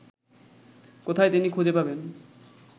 কোথায় তিনি খুঁজে পাবেন